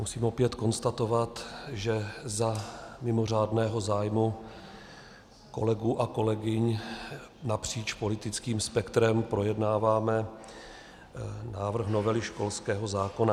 Musím opět konstatovat, že za mimořádného zájmu kolegů a kolegyň napříč politickým spektrem projednáváme návrh novely školského zákona.